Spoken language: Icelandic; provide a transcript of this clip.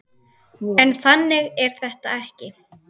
En þannig er þetta ekki.